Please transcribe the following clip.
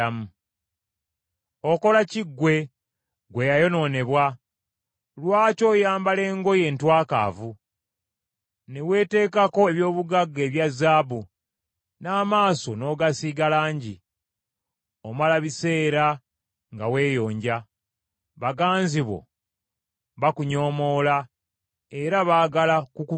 Okola ki ggwe, ggwe eyayonoonebwa? Lwaki oyambala engoye entwakaavu, ne weeteekako eby’obugagga ebya zaabu, n’amaaso n’ogasiiga langi? Omala biseera nga weeyonja. Baganzi bo bakunyoomoola; era baagala kukutta.